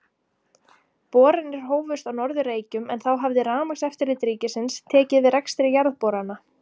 Boranir hófust á Norður-Reykjum, en þá hafði Rafmagnseftirlit ríkisins tekið við rekstri jarðborana.